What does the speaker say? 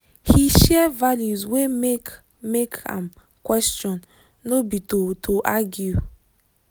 he share values wey make make am question no be to to argue